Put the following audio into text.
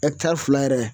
fila yɛrɛ